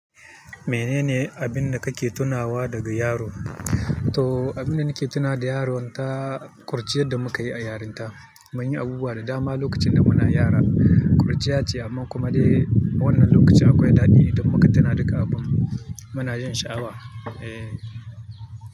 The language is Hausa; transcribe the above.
Menene abin da kake tunawa daga yaro? To abin da nake tuna da yaro, ta kurciyar da muka yi a yarinta, mun yi abubuwa da dama lokacin da muna yara, kurciya ce amma kuma dai wannan lokacin akwai daɗi idan muka tuna da ga abun, muna jin sha'awa, eh.